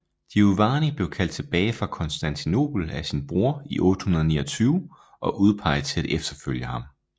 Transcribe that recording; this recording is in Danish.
Giovanni blev kaldt tilbage fra Konstantinopel af sin bror i 829 og udpeget til at efterfølge ham